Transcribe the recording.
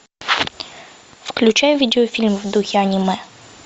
включай видеофильм в духе аниме